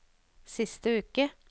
siste uke